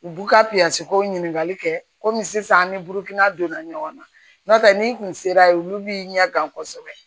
U b'u ka ko ɲininkali kɛ komi sisan an ni burukina donna ɲɔgɔn na n'o tɛ n'i kun sera yen olu b'i ɲɛ gan kosɛbɛ